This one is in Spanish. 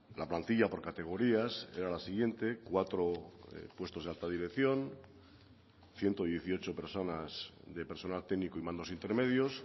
la plantilla por categorías era la siguiente cuatro puestos de alta dirección ciento dieciocho personas de personal técnico y mandos intermedios